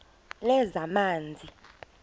lezamanzi